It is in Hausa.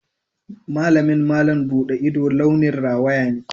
Malamin malam buɗe ido launin rawaya ne.